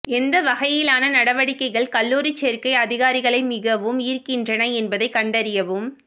எந்த வகையிலான நடவடிக்கைகள் கல்லூரி சேர்க்கை அதிகாரிகளை மிகவும் ஈர்க்கின்றன என்பதைக் கண்டறியவும்